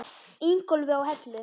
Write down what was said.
Ingólfi á Hellu.